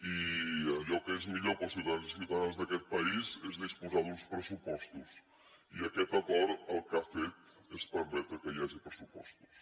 i allò que és millor per als ciutadans i ciutadanes d’aquest país és disposar d’uns pressupostos i aquest acord el que ha fet és permetre que hi hagi pressupostos